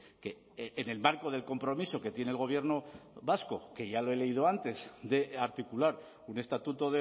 que en el marco del compromiso que tiene el gobierno vasco que ya lo he leído antes de articular un estatuto